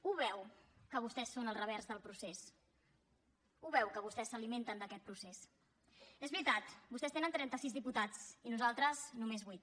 ho veu que vostès són el revers del procés ho veu que vostès s’alimenten d’aquest procés és veritat vostès tenen trenta sis diputats i nosaltres només vuit